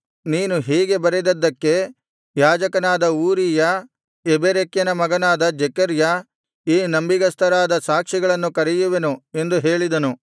ನೀನು ಹೀಗೆ ಬರೆದದ್ದಕ್ಕೆ ಯಾಜಕನಾದ ಊರೀಯ ಯೆಬೆರೆಕ್ಯನ ಮಗನಾದ ಜೆಕರ್ಯ ಈ ನಂಬಿಗಸ್ತರಾದ ಸಾಕ್ಷಿಗಳನ್ನು ಕರೆಯುವೆನು ಎಂದು ಹೇಳಿದನು